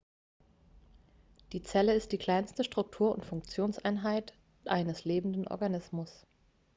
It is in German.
die zelle ist die kleinste struktur und funktionseinheit eines lebenden organismus